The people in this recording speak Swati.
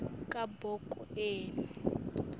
kabhokweni